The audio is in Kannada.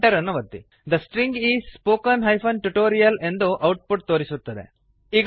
ಥೆ ಸ್ಟ್ರಿಂಗ್ isದ string is spoken tutorial spoken tutorial ಎಂದು ಔಟ್ ಪುಟ್ ತೋರಿಸುತ್ತದೆ